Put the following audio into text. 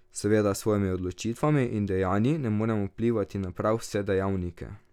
Seveda s svojimi odločitvami in dejanji ne moremo vplivati na prav vse dejavnike.